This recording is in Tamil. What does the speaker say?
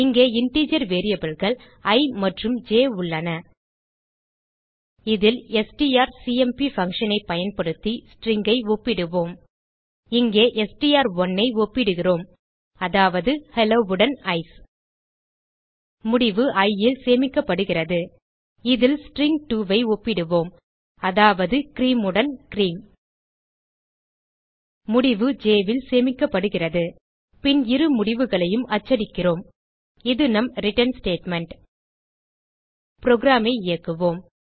இங்கே இன்டர்ஜர் variableகள் இ மற்றும் ஜ் உள்ளன இதில் எஸ்டிஆர்சிஎம்பி functionஐ பயன்படுத்தி stringஐ ஒப்பிடுவோம் இங்கே எஸ்டிஆர்1 ஐ ஒப்பிடுகிறோம் அதாவது ஹெல்லோ உடன் ஐசிஇ முடிவு iல் சேமிக்கப்படுகிறது இதில் string2ஐ ஒப்பிடுவோம் அதாவது கிரீம் உடன் கிரீம் முடிவு jல் சேமிக்கப்படுகிறது பின் இரு முடிவுகளையும் அச்சடிக்கிறோம் இது நம் ரிட்டர்ன் ஸ்டேட்மெண்ட் programஐ இயக்குவோம்